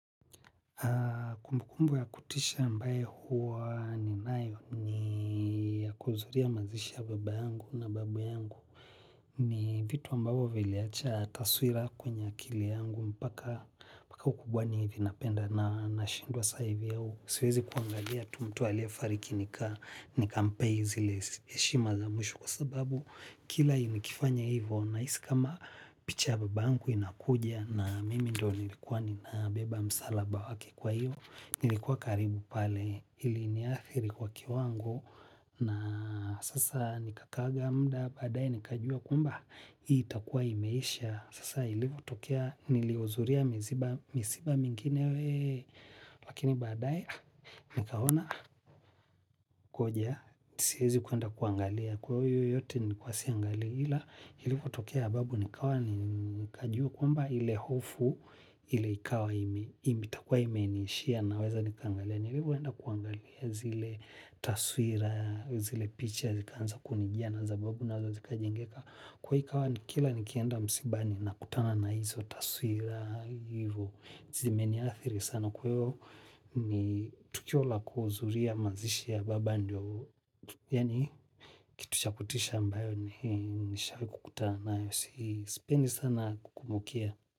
Kumbukumbu ya kutisha ambaye huwa ninayo ni ya kuhudhuria mazishi ya baba yangu na babu yangu. Ni vitu ambavyo viliacha taswira kwenye akili yangu mpaka ukubwani hivi napenda na nashindwa saa hivi au. Siwezi kuangalia mtu tu aliyefariki nikampea zile heshima za mwisho kwa sababu kila nikifanya hivyo. Nahisi kama picha ya baba yangu inakuja na mimi ndiyo nilikuwa ninabeba msalaba wake kwa hivyo nilikuwa karibu pale iliniathiri kwa kiwango na sasa nikaa muda baadaye nikajua kwamba hii itakuwa imeisha sasa ilivyotokea niliohudhuria misiba mingine we lakini baadaye nikaona ngoja siwezi kwenda kuangalia kwa hiyo yote nilikuwa siangali ila ilivyotokea ya babu nikajua kwamba ile hofu ile ikawa imenishia na weza nikaangalia. Nilivyoenda kuangalia zile taswira, zile picha zikaanza kunijia na za babu nazo zikajengeka. Ikawa kila nikienda msibani nakutana na hizo taswira hivyo. Zimeniathiri sana kwa hivyo ni tukio la kuhudhuria mazishi ya baba ndiyo. Yani kitu cha kutisha ambayo nishawahi kukuta nayo sipendi sana kumbukia.